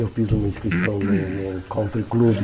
Eu fiz uma inscrição no no Country Club.